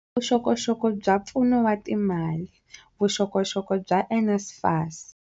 Vuxokoxoko bya pfuno wa timali, Vuxokoxoko bya NSFAS.